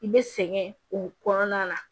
I bɛ sɛgɛn o kɔnɔna na